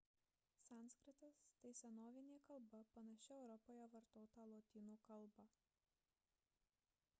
sanskritas – tai senovinė kalba panaši europoje vartotą lotynų kalbą